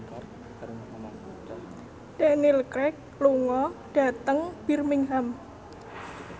Daniel Craig lunga dhateng Birmingham